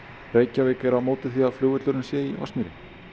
Reykjavík er á móti því að flugvöllurinn sé í Vatnsmýri